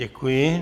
Děkuji.